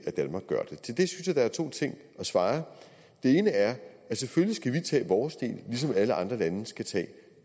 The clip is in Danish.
til det der er to ting at svare den ene er at selvfølgelig skal vi tage vores del ligesom alle andre lande skal tage